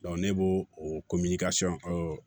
ne b'o o